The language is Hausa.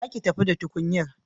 Za ki tafi da tukunyar?